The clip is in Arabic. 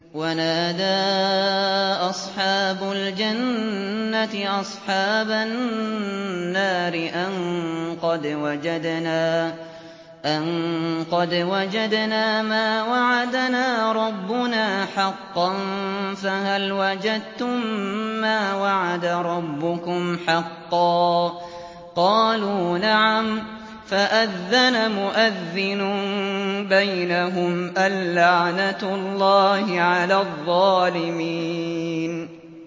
وَنَادَىٰ أَصْحَابُ الْجَنَّةِ أَصْحَابَ النَّارِ أَن قَدْ وَجَدْنَا مَا وَعَدَنَا رَبُّنَا حَقًّا فَهَلْ وَجَدتُّم مَّا وَعَدَ رَبُّكُمْ حَقًّا ۖ قَالُوا نَعَمْ ۚ فَأَذَّنَ مُؤَذِّنٌ بَيْنَهُمْ أَن لَّعْنَةُ اللَّهِ عَلَى الظَّالِمِينَ